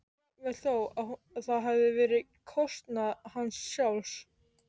jafnvel þó að það hefði verið á kostnað hans sjálfs.